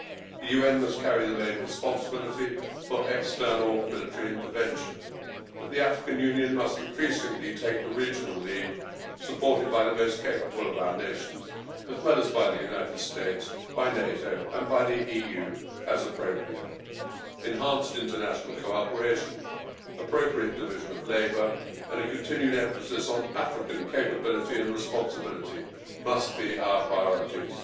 The UN must carry the main responsibility for external military intervention, but the African Union must increasingly take the regional lead, supported by the most capable of our nations, as well as by the United States, NATO and the EU as appropriate. Enhanced international collaboration, appropriate division of labour and a continued emphasis on African capability and responsibility must be our priorities.